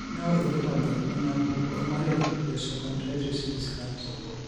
Kainyio irbulabul onaapuku ormarei leosteochondritis dissecans?